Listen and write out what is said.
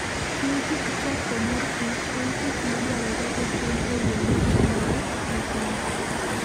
Tij choko mor kich en tich madwarore otim e yo mochanore maber.